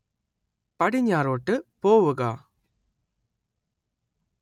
പടിഞ്ഞാറോട്ട് പോവുക